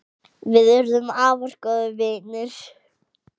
Við urðum afar góðir vinir.